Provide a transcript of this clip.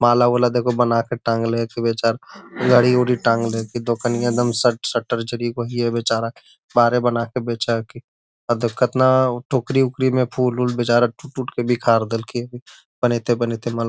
माला-उला देखो बना कर टांगले है बेचारा घड़ी वडी टांगले है दुकनिया शटर बेचारा बाहरे बना के बेचा है की और देखत न हो टोकरी ओकरी में फूल उल बेचारा टूट-टूट के बिखर गइल बनइते बनइते माला।